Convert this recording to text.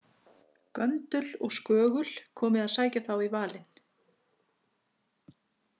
Göndul og Skögul komi að sækja þá í valinn.